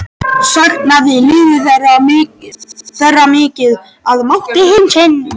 Saknaði liðið þeirra mikið að mati Heimis?